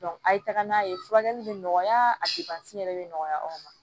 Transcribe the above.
a ye taga n'a ye furakɛli bɛ nɔgɔya a yɛrɛ bɛ nɔgɔya anw ma